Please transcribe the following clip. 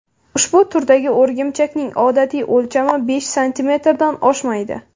Ushbu turdagi o‘rgimchakning odatiy o‘lchami besh santimetrdan oshmaydi.